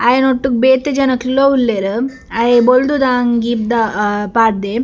ಅಯನೊಟ್ಟುಗ್ ಬೇತೆ ಜನಕ್ಕುಲ ಉಳ್ಳೇರ್‌ ಅಯೆ ಬೊಲ್ದುದ ಅಂಗಿದ ಪಾಡ್ದೆ.